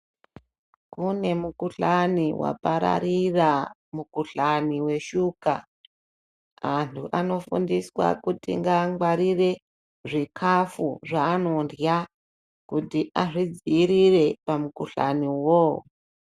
Kune mukhuhlani wapararira, mukhuhlani weshuka. Antu anofundiswa kuti ngangwarire zvikafu zvanondya kuti azvidziirire pamukhuhlani iwowo.